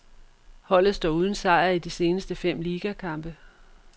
Holdet står uden sejr i de seneste fem ligakampe.